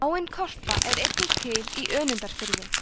áin korpa er einnig til í önundarfirði